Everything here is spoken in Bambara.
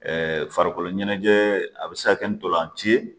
farikolo ɲɛnajɛ a bɛ se ka kɛ ni ntolanci ye